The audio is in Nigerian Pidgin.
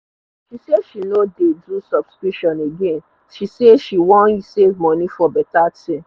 she say she no dey do subscription again she say she wan save money for better thing